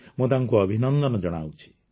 ମୁଁ ତାଙ୍କୁ ଅଭିନନ୍ଦନ ଜଣାଉଛି